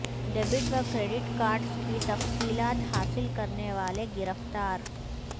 debit و credit cards کی تفصیلات حاصل کرنے والے گرفتار